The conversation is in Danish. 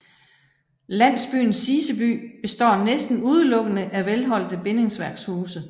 Landsbyen Siseby består næsten udelukkende af velholdte bindingsværkshuse